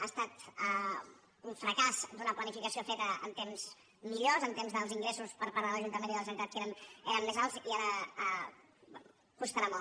ha estat un fracàs d’una planificació feta en temps millors en temps d’ingressos per part dels ajuntaments i la generalitat que eren més alts i ara costarà molt